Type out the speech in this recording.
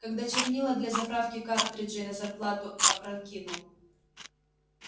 когда чернила для заправки картриджей на зарплату опрокинул